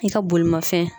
I ka bolimafɛn